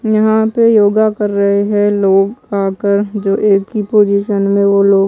यहां पे योगा कर रहे है लोग आकर जो एक ही पोजीशन में वो लोग--